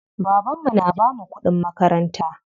Baban mu na bamu kuɗin makaranta.